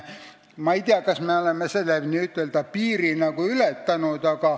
Ma ei tea, kas me oleme selle n-ö piiri ületanud.